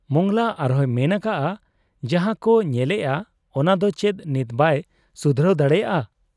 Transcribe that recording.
ᱢᱚᱸᱜᱽᱞᱟ ᱟᱨᱦᱚᱸᱭ ᱢᱮᱱ ᱟᱠᱟᱜ ᱟ ᱡᱟᱦᱟᱸᱠᱚ ᱧᱮᱞᱮᱜ ᱟ ᱚᱱᱟᱫᱚ ᱪᱮᱫ ᱱᱤᱛ ᱵᱟᱭ ᱥᱩᱫᱷᱨᱟᱹᱣ ᱫᱟᱲᱮᱭᱟᱜ ᱟ ?